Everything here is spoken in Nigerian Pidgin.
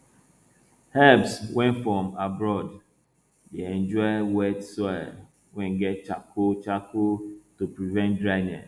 herbs wey from abroad dey enjoy wet soil wey get charcoal charcoal to prevent dryness